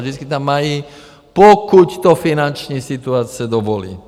Vždycky tam mají - pokud to finanční situace dovolí.